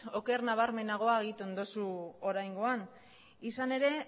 oker nabarmenagoa egiten dozu oraingoan izan ere